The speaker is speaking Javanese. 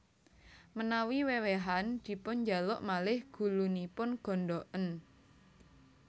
Menawi wewehan dipunjaluk malih gulunipun gondhoken